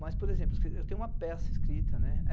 Mas, por exemplo, eu tenho uma peça escrita, né.